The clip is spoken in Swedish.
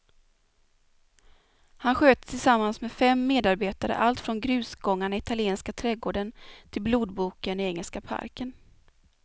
Han sköter tillsammans med fem medarbetare allt från grusgångarna i italienska trädgården till blodboken i engelska parken.